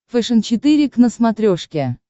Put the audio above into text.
фэшен четыре к на смотрешке